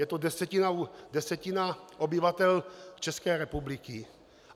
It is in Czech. Je to desetina obyvatel České republiky.